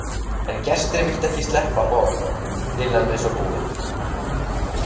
En gestir vildu ekki sleppa Bob Dylan við svo búið.